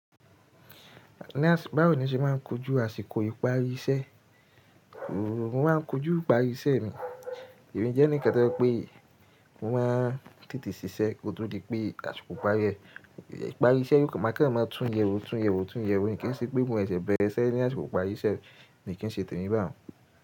Ní àsìkò báwo ni o ṣe máa ń kojú àsìkò ìparí iṣẹ́? Mo máa ń kojú ìparí iṣẹ́ mi. Èmi jẹ́ eníkan toje wipé mo máa n tètè ṣíṣẹ́ kó tó di pé àsìkò ìparí iṣẹ́, ìparí iṣẹ́ yóò má kan máa tún yẹ wó tún yẹ wó tún yẹ wó kì n ṣe pé mo sè ṣe bẹ́rẹ̀ iṣé ní àsìkò ìparí iṣẹ́ mi kì n ṣe tèmi báun.